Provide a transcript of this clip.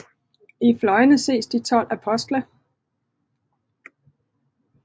I fløjene ses de 12 apostle